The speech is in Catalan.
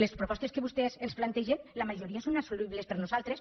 les propostes que vostès ens plantegen la majoria són assolibles per nosaltres